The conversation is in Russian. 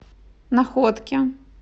находке